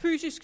sker nogen fysisk